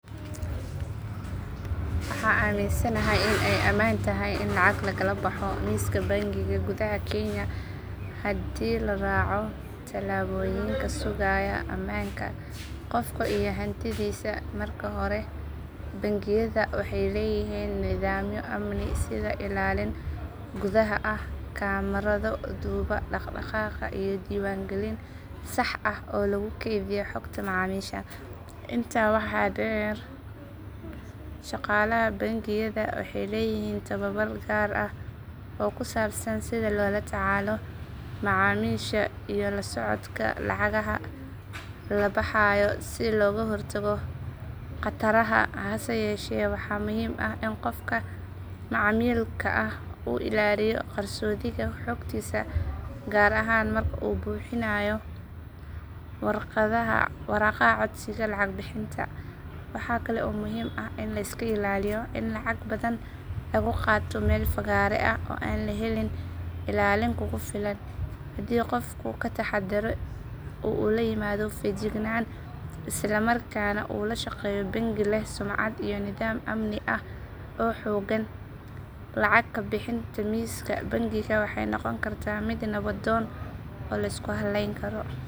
Waxaan aaminsanahay in ay ammaan tahay in lacag lagala baxo miiska bangiga gudaha kenya haddii la raaco tallaabooyin sugaya ammaanka qofka iyo hantidiisa. Marka hore bangiyada waxay leeyihiin nidaamyo amni sida ilaalin gudaha ah, kamarado duuba dhaqdhaqaaqa iyo diiwaan gelin sax ah oo lagu kaydiyo xogta macaamiisha. Intaa waxaa dheer, shaqaalaha bangiyada waxay leeyihiin tababar gaar ah oo ku saabsan sida loola tacaalo macaamiisha iyo la socodka lacagaha la baxayo si looga hortago khataraha. Hase yeeshee, waxaa muhiim ah in qofka macaamilka ah uu ilaaliyo qarsoodiga xogtiisa gaar ahaan marka uu buuxinayo waraaqaha codsiga lacag bixinta. Waxa kale oo muhiim ah in la iska ilaaliyo in lacag badan lagu qaato meel fagaare ah oo aan la helin ilaalin kugu filan. Haddii qofku ka taxaddaro oo uu la yimaado feejignaan isla markaana uu la shaqeeyo bangi leh sumcad iyo nidaam amni oo xooggan, lacag ka bixinta miiska bangiga waxay noqon kartaa mid nabdoon oo la isku hallayn karo.